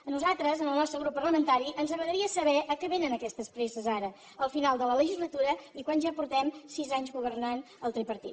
a nosaltres al nostre grup parlamentari ens agradaria saber a què vénen aquestes presses ara al final de la legislatura i quan ja fa sis anys que governa el tripartit